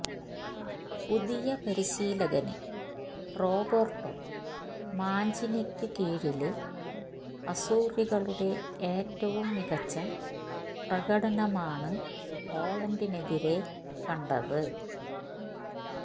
പുതിയ പരിശീലകന് റോബര്ട്ടോ മാഞ്ചീനിക്ക് കീഴില് അസൂറികളുടെ ഏറ്റവും മികച്ച പ്രകടനമാണ് പോളണ്ടിനെതിരേ കണ്ടത്